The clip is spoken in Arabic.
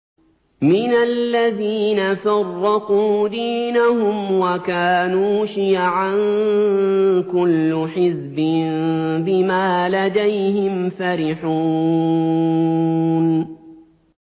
مِنَ الَّذِينَ فَرَّقُوا دِينَهُمْ وَكَانُوا شِيَعًا ۖ كُلُّ حِزْبٍ بِمَا لَدَيْهِمْ فَرِحُونَ